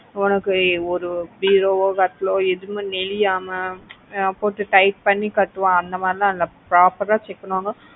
உனக்கு ஒரு பீரோவோ கட்டிலோ, எதுவும் நெளியாம போட்டு tight பன்னி கட்டுவாங்க அந்த மாதிரி லாம் இல்ல proper ஆ check பண்ணு வாங்க